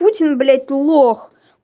путин блять лох